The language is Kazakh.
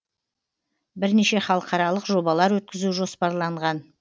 бірнеше халықаралық жобалар өткізу жоспарланған